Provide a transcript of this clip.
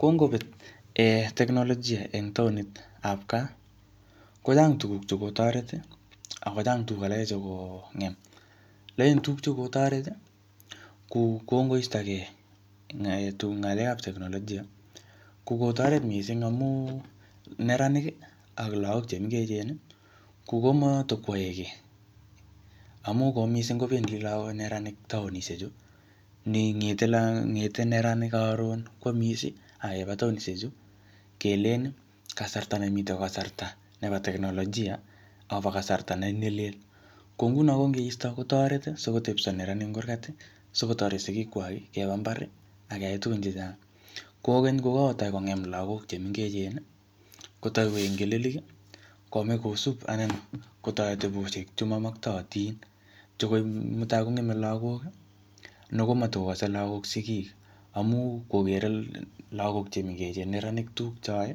Kongobet um teknolojia eng taonit ap gaa, kochang tuguk che kotoret, akochang tuguk alake che kongem. Alen tuguk che kotoret, ku kongoistogey um ng'alekap teknolojia, ko kotoret missing amu neranik ak lagok che mengechen, ko komatikwae kiy. Amu ko missing kobendi lagok neranik taonishek chu. Ne ngete-ngete neranik karon, kwamis, akeba taonishek chu. Kelen kasarta ne mitei ko kasarta nebo teknolojia, akobo kasrata ne lel. Ko nguno kongeisto kotoret, asikotepso neranik eng kurgat, sikotoret sigik kwak keba mbar, akeyai tugun chechang. Kokeny kokotai kongem lagok che mengechen, kotai koek ngelelik. Komach kosup anan kotoreti che mamaktaatin. Che mutai kongeme lagok, ne komatikokase lagok sigik. Amu kokere lagok che mengechen neranik tuguk cheae.